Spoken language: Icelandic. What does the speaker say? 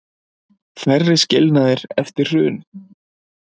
Færri skilnaðir eftir hrun